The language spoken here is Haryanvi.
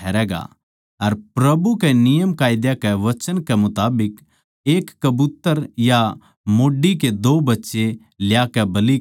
अर प्रभु कै नियमकायदा कै वचन कै मुताबिक पंडुका का एक जोड़ा या कबूतर कै दो बच्चे ल्याकै बलि करै